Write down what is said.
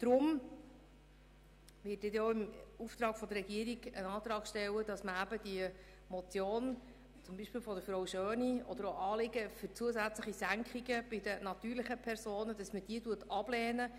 Deswegen werde ich im Auftrag der Regierung einen Antrag stellen, zum Beispiel die Motion von Grossrätin Schöni oder Anliegen für Senkungen bei den natürlichen Personen abzulehnen.